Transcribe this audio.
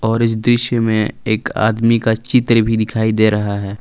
और इस दृश्य में एक आदमी का चित्र भी दिखाई दे रहा है।